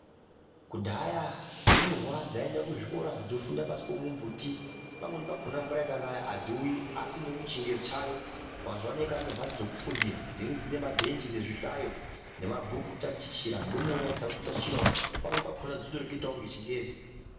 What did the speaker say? Kudhaya ndumurwa dzayi enda ku zvikora dzo funda pasi pemu mbuti pamweni pakona mvura ikanaya adziiuyi asi ngokuti chingezi chayo mazuva ano kwane mbatso dzeku fundira dzinenge dzine mabhenji nezvi hlayo ne mabhuku eku tatichira ndomure dzakuto tatichirawo pamweni pakona dzichito reketawo nge chingezi.